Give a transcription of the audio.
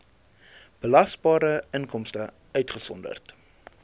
belasbare inkomste uitgesonderd